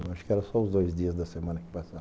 Eu acho que era só os dois dias da semana que passava.